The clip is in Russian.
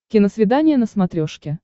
киносвидание на смотрешке